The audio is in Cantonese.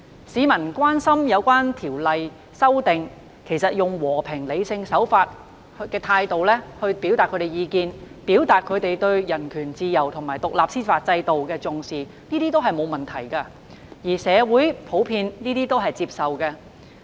市民關心《逃犯條例》的修訂，以和平、理性的手法和態度表達意見，表達對人權、自由及獨立司法制度的重視，這些都沒有問題，而且為社會普遍接受。